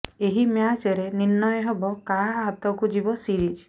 ଏହି ମ୍ୟାଚରେ ନିର୍ଣ୍ଣୟ ହେବ କାହା ହାତକୁ ଯିବ ସିରିଜ